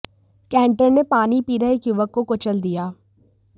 canter ने पानी पी रहे एक युवक को कुचल दिया